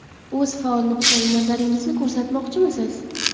O‘z faol nuqtai nazaringizni ko‘rsatmoqchimisiz?